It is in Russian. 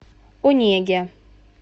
онеге